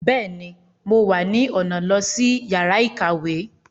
Bẹẹni, Mo wá ni ọna lo si yàrá ìkàwé